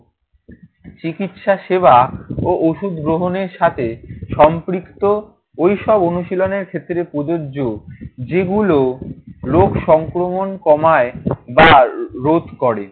চিকিৎসাসেবা ও ওষুধ গ্রহণের সাথে সম্পৃক্ত, ঐসব অনুশীলনের ক্ষেত্রে প্রযোজ্য। যেগুলো রোগ সংক্রমণ কমায় বা রোধ করে।